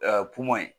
pomɔ